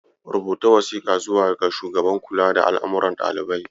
Rubuta wasiƙa zuwa ga shugaban kula da al'amuran ɗalibai.